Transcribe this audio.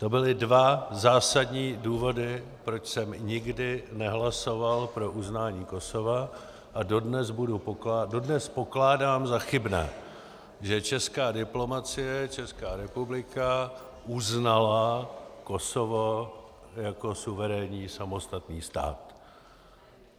To byly dva zásadní důvody, proč jsem nikdy nehlasoval pro uznání Kosova, a dodnes pokládám za chybné, že česká diplomacie, Česká republika, uznala Kosovo jako suverénní samostatný stát.